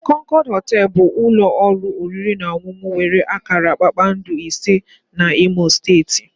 Concord họtel bụ ụlọ oriri na ọṅụṅụ nwere akara kpakpando ise na imo steeti